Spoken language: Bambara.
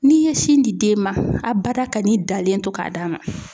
N'i ye sin di den ma a bada ka n'i dalen to k'a d'a ma.